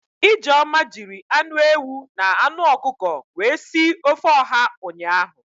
Ijeoma jiri anụ ewu na anụ ọkụkọ wee si ofe ọha ụnyaahụ